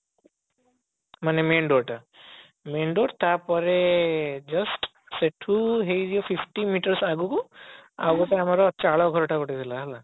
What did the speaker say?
ମାନେ main door ଟା main door ତାପରେ just ସେଠୁ ହେଇଯିବା sixty meters ଆଗକୁ ଆଉ ଗୋଟେ ଆମର ଚାଳ ଘରଟେ ଗୋଟେ ଥିଲା ହେଲା